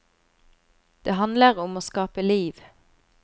Det handler om å skape liv.